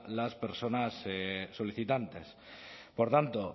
las personas solicitantes por tanto